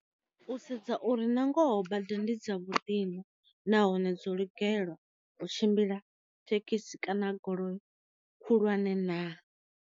U sedza uri na ngoho bada ndi dza vhuḓi na, nahone dzo lugela u tshimbila thekhisi kana goloi khulwane na.